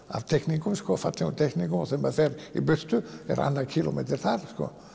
af teikningum fallegum teikningum og þegar maður fer í burtu er annar kílómetri þar